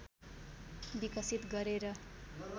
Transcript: विकसित गरेर